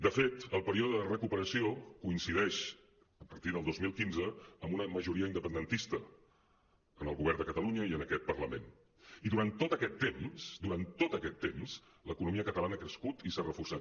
de fet el pe·ríode de recuperació coincideix a partir del dos mil quinze amb una majoria independentista en el govern de catalunya i en aquest parlament i durant tot aquest temps durant tot aquest temps l’economia catalana ha crescut i s’ha reforçat